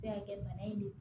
Se ka kɛ bana in de ye